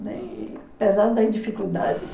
Né? E apesar das dificuldades...